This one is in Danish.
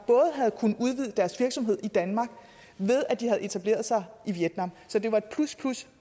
havde kunnet udvide deres virksomhed i danmark ved at de havde etableret sig i vietnam så det var plus plus